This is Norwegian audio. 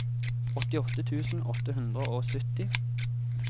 åttiåtte tusen åtte hundre og sytti